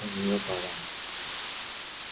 у неё талант